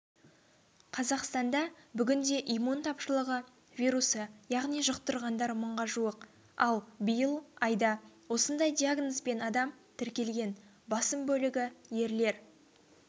қазақстанда бүгінде иммун тапшылығы вирусы яғни жұқтырғандар мыңға жуық ал биыл айда осындай диагнозбен адам тіркелген басым бөлігі ерлер